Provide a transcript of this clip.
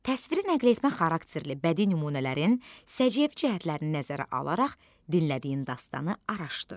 Təsiri nəqletmə xarakterli bədi nümunələrin səciyyəvi cəhətlərini nəzərə alaraq dinlədiyin dastanı araşdır.